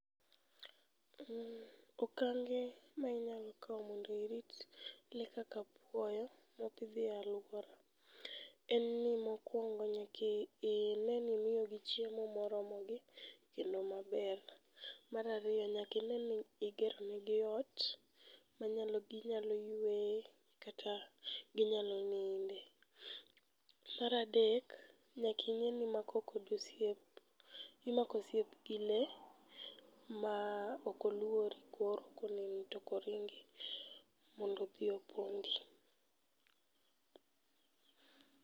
Okange mainyalo kawo mondo irit le kaka apuoyo mopidhi e alwora. En ni mokwongo nyakine ni imiyogi chiemo moromogi kendo maber. Marariyo nyakine ni igeronegi ot maginyalo yweye kata ginyalo ninde. Maradek, nyakine ni imako kode osiep, imako osiep gi le ma okoluori koro koneni tokoringi, mondo odhi opondi.